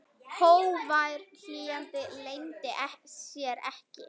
Hógvær hlýjan leyndi sér ekki.